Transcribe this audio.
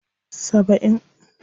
70